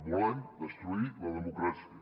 volen destruir la democràcia